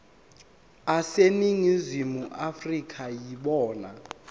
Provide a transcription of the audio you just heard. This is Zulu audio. aseningizimu afrika yibona